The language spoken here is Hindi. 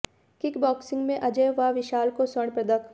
किक बॉक्सिंग में अजय व विशाल को स्वर्ण पदक